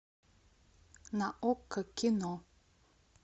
на окко кино